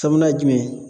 Sabanan ye jumɛn ye